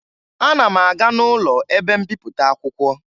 Ana ma aga n'ụlọ ebe mbipụta akwụkwọ